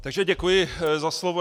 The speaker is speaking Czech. Takže děkuji za slovo.